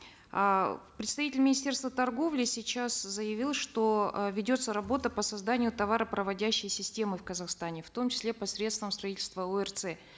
а представитель министерства торговли сейчас заявил что э ведется работа по созданию товаропроводящей системы в казахстане в том числе посредством строительства орц